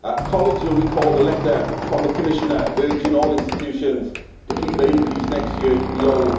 Colleagues will recall the letter from the Commissioner urging all institutions to keep their increase next year to below